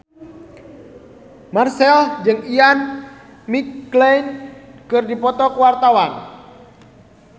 Marchell jeung Ian McKellen keur dipoto ku wartawan